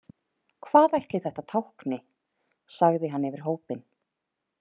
Hvað ætli þetta tákni, sagði hann yfir hópinn.